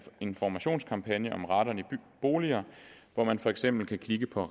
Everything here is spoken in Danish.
informationskampagne om radon i boliger hvor man for eksempel kan kigge på